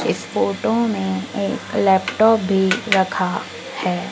इस फोटो में लैपटॉप भी रखा है।